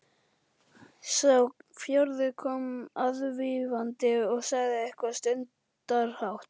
Sá fjórði kom aðvífandi og sagði eitthvað stundarhátt.